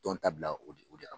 Tɔn ta bila o de o de